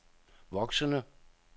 voksende